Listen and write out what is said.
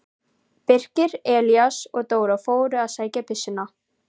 Birkir, Elías og Dóra fóru að sækja byssuna.